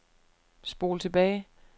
spol tilbage